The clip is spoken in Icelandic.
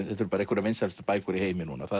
þetta eru einhverjar vinsælustu bækur í heimi núna það